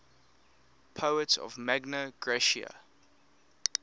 poets of magna graecia